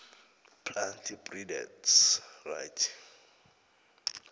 plant breeders right